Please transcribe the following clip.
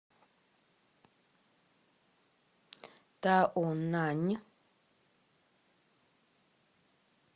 таонань